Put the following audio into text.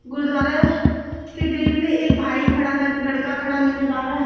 गुरुद्वारा के ग्रील पे एक भाई खड़ा लड़का खड़ा नजर आ रहा है।